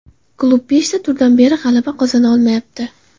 Klub beshta turdan beri g‘alaba qozona olmayapti.